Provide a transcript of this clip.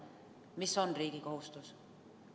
Mis on riigi kohustus?